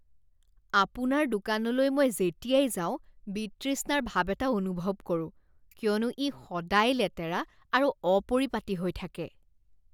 আপোনাৰ দোকানলৈ মই যেতিয়াই যাওঁ বিতৃষ্ণাৰ ভাব এটা অনুভৱ কৰোঁ কিয়নো ই সদায় লেতেৰা আৰু অপৰিপাটি হৈ থাকে।